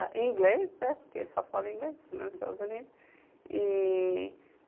Em inglês, porque eles só falam em inglês nos Estados Unidos. E...